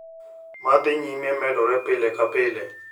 Ma dhi nyime medore pile ka pile.